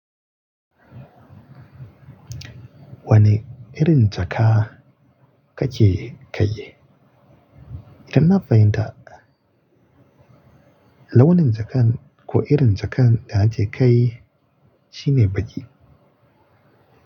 Wane irin jaka kake kai? Inna fahimta. Launin jakan ko irin jakan da ake kai shine baki.